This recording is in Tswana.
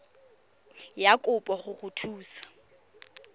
ya kopo go go thusa